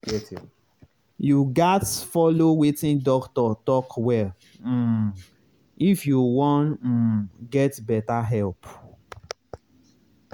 you gatz follow wetin doctor talk well um if you wan um get better help.